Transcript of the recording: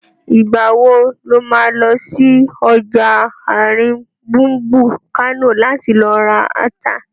Ìgbà wo lo má lọ sí ọjà àrin gbùngbùn Kánò láti lọ ra ata?